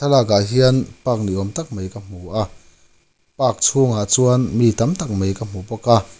thlalakah hian park ni awm tak mai ka hmu a park chhungah chuan mi tam tak mai ka hmu bawk a.